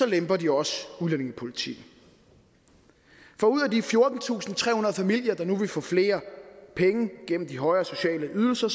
lemper de også udlændingepolitikken for ud af de fjortentusinde og trehundrede familier der nu vil få flere penge gennem de højere sociale ydelser